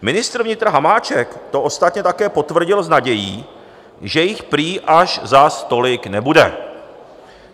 Ministr vnitra Hamáček to ostatně také potvrdil s nadějí, že jich prý až zas tolik nebude.